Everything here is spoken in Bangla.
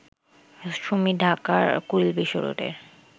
সুমি ঢাকার কুড়িল বিশ্ব রোডের